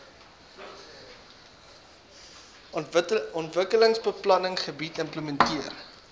ontwikkelingsbeplanning beleid implementeer